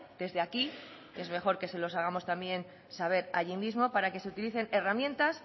desde aquí es mejor que se los hagamos también saber allí mismo para que se utilicen herramientas